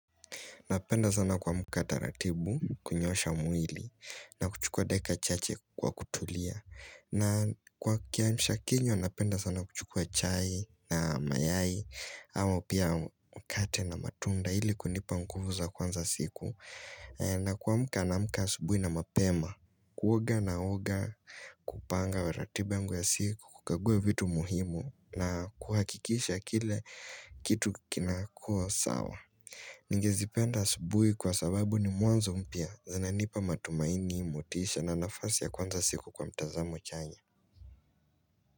Napenda sana kuamka taratibu, kunyoosha mwili, na kuchukua dakika chache kwa kutulia. Na kwa kiamshakinywa, napenda sana kuchukua chai na mayai, ama pia mkate na matunda, ili kunipa nguvu za kuanza siku. Na kuamka naamka asubuhi na mapema, kuoga naoga, kupanga wa ratiba yangu ya siku, kukagua vitu muhimu, na kuhakikisha kile kitu kinakuwa sawa. Ningezipenda asubuhi kwa sababu ni mwanzo mpya zinanipa matumaini, motisha na nafasi ya kwanza siku kwa mtazamo chanya.